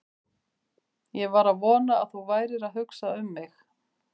Ég var að vona að þú værir að hugsa um mig!